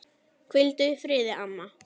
Hvíldu í friði, amma.